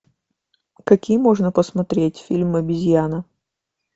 какие можно посмотреть фильмы обезьяна